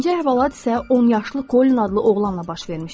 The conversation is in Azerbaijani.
İkinci əhvalat isə 10 yaşlı Kolin adlı oğlanla baş vermişdi.